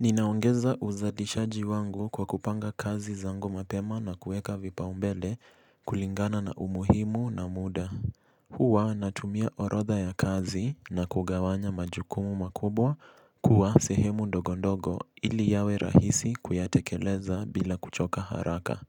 Ninaongeza uzalishaji wangu kwa kupanga kazi zangu mapema na kueka vipa umbele kulingana na umuhimu na muda. Huwa natumia orodha ya kazi na kugawanya majukumu makubwa kuwa sehemu ndogo ndogo ili yawe rahisi kuyatekeleza bila kuchoka haraka.